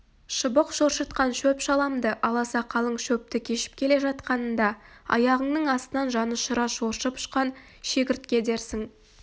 шыбық шоршытқан шөп-шаламды аласа қалың шөпті кешіп келе жатқанында аяғыңның астынан жанұшыра шоршып ұшқан шегіртке дерсің